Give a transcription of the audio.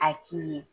A k'i ye